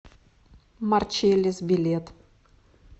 марчеллис билет